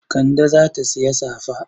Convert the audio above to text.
Kande za ta sayi safa.